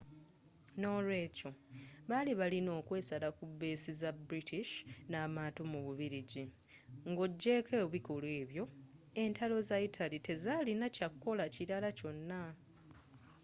n'olweekyo baali balina okwesala ku beesi zaba british n'amaato mu bubiligi nga ojeeko ebikolwa ebyo entalo za italy tezalina kyakukola kilala kyona